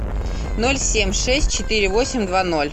ноль семь шесть четыре восемь два ноль